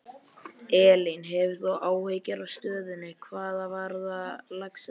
Elín: Hefur þú áhyggjur af stöðunni, hvað varðar laxeldið?